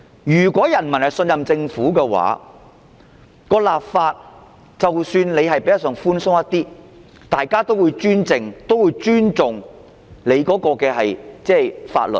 如果人民信任政府，即使立法較為寬鬆，大家也會尊重法律。